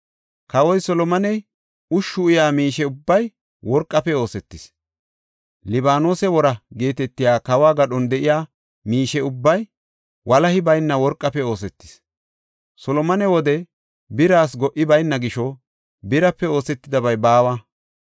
Kawoy Solomoney ushshu uyaa miishe ubbay worqafe oosetis; “Libaanose Wora” geetetiya kawo gadhon de7iya miishe ubbay walahi bayna worqafe oosetis. Solomone wode biras go77i bayna gisho birape oosetidabay baawa.